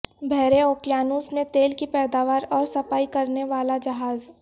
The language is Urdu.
بحر اوقیانوس میں تیل کی پیداوار اور صفائی کرنے والا جہاز